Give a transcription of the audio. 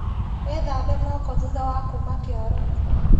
Wĩthambe moko thutha wa kuma kioro.